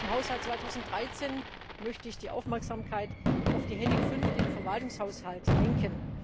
Zum Haushalt 2013 möchte ich die Aufmerksamkeit auf die Rubrik 5, den Verwaltungshaushalt, lenken.